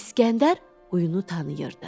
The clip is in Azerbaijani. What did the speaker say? İsgəndər qoyunu tanıyırdı.